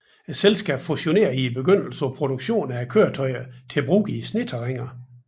Selskabet fokuserede i begyndelsen på produktion af køretøjer til brug i sneterræner